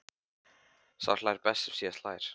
Sá hlær best sem síðast hlær!